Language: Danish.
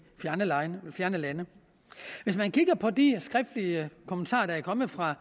fjerne lande hvis man kigger på de skriftlige kommentarer der er kommet fra